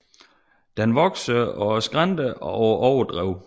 Den vokser på skrænter og på overdrev